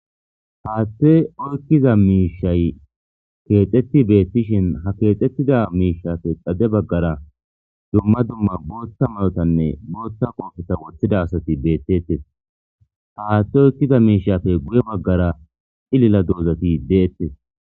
Haaththe oykkiza miishay keexxetti beettishin ha keexxettida miishafe xade baggara dumma dumma booththa mayotanne booththa qoofeta woththida asati beettettes. Haaathte oykkiza miishafe guye baggara xilila doozati deettes.